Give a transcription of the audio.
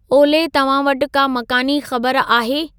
ओले तव्हां वटि का मकानी ख़बर आहे